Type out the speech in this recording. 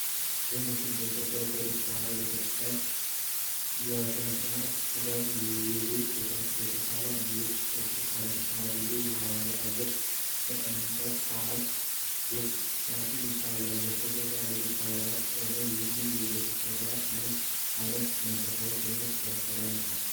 ይህ ሥዕል በኢትዮጵያ ኦርቶዶክስ ተዋህዶ ቤተ ክርስቲያን የሥነ ጥበብ ዘይቤ የተሳለ ነው። ኢየሱስ ክርስቶስ አንድ ሽማግሌ የሐዋርያን እግር በእንጨት ሳህን ውስጥ ሲያጥብ ይታያል። በስተጀርባ ሌሎች ሐዋርያት ቆመዋል። ይህ የኢየሱስ ተግባር ምን ዓይነት መንፈሳዊ ትምህርት ያስተላልፋል?